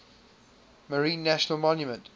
marine national monument